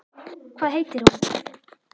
Hvað heitir hún?